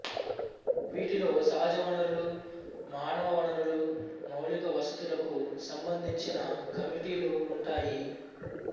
వీటిలో సహజ వనరులు మానవ వనరులు మౌలిక వసతులకు సంబంధించి కమిటీలు ఉంటాయి